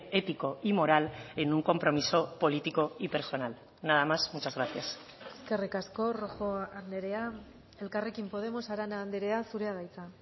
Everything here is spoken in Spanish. ético y moral en un compromiso político y personal nada más muchas gracias eskerrik asko rojo andrea elkarrekin podemos arana andrea zurea da hitza